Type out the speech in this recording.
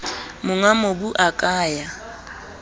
monga mobu a ka ya